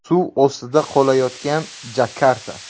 Suv ostida qolayotgan Jakarta.